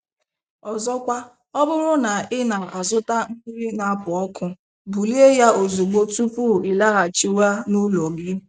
Ọzọkwa, ọ bụrụ na ị na-azụta nri na-apu ọkụ, bulie ya ozugbo tupu ịlaghachiwa n'ụlọ gi